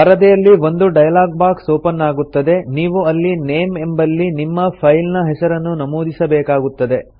ಪರದೆಯಲ್ಲಿ ಒಂದು dialog box open ಆಗುತ್ತದೆ ನೀವು ಅಲ್ಲಿ ನೇಮ್ ಎಂಬಲ್ಲಿ ನಿಮ್ಮ ಫೈಲ್ ನ ಹೆಸರನ್ನು ನಮೂದಿಬೇಕಾಗುತ್ತದೆ